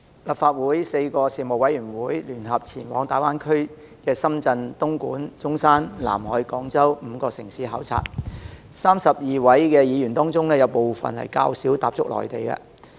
立法會4個事務委員會聯合前往大灣區的深圳、東莞、中山、南海及廣州5個城市考察，在32位議員當中，有部分較少踏足內地。